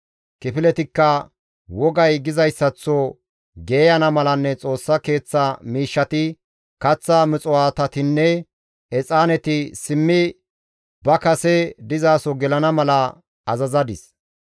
Kifiletikka wogay gizayssaththo geeyana malanne Xoossa Keeththa miishshati, Kaththa muxuwaatatinne exaaneti simmi ba kase dizaso gelana mala azazadis.